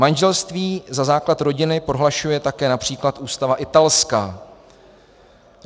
Manželství za základ rodiny prohlašuje také například ústava italská.